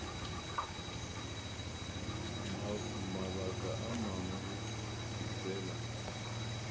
mabaka a mangwe ke fela